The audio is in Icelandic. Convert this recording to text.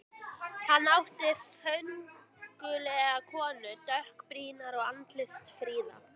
Hann átti föngulega konu, dökkbrýnda og andlitsfríða.